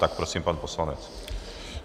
Tak prosím, pan poslanec.